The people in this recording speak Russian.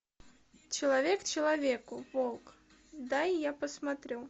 человек человеку волк дай я посмотрю